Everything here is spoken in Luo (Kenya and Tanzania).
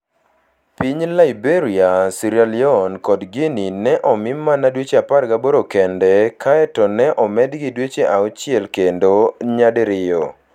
Piny Liberia, Sierra Leone, kod Guinea ne omi mana dweche 18 kende, kae to ne omedgi dweche auchiel kendo nyadiriyo.